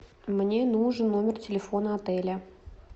мне нужен номер телефона отеля